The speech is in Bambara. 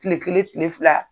Tile kelen tile fila